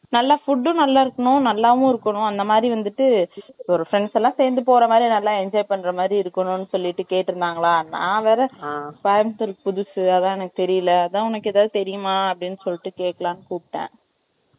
நல்லா food ம் நல்லா இருக்கணும், நல்லாவும் இருக்கணும், அந்த மாதிரி வந்துட்டு, friends எல்லாம் சேர்ந்து போற மாதிரி, நல்லா enjoy பண்ற மாதிரி இருக்கணும்ன்னு சொல்லிட்டு, கேட்டிருந்தாங்களாம். நான் வேற, ஆ, கோயம்புத்தூர் புதுசு, அதான் எனக்கு தெரியலை. அதான், உனக்கு எதாவது தெரியுமா? அப்படின்னு சொல்லிட்டு, கேட்கலாம்ன்னு கூப்பிட்டேன்